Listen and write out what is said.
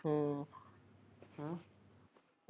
ਹਮ